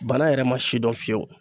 Bana yɛrɛ ma si dɔn fiyewu